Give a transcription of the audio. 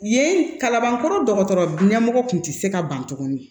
Yen kalabankɔrɔ dɔgɔtɔrɔ ɲɛmɔgɔ tun tɛ se ka ban tuguni